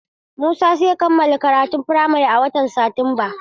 Musa zai kammala karatun firamare a watan Satumba.